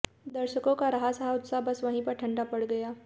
दर्शकों का रहा सहा उत्साह बस वहीं पर ठंडा पड़ गया